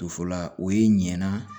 Tofola o ye ɲana